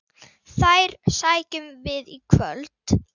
Þær sækjum við í kvöld.